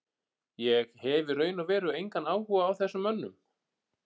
Ég hef í raun og veru engan áhuga á þessum mönnum.